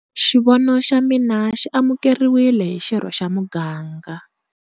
Xivono xa mina xi amukeriwile hi xirho xa muganga.